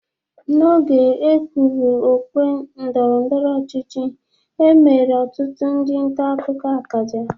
N'oge e gwuru okwe ndọrọndọro ọchịchi e mere ọtụtụ ndị ntakụkọ akaja.